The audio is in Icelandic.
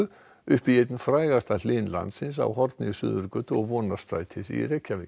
upp í einn frægasta Hlyn landsins á horni Suðurgötu og Vonarstrætis í Reykjavík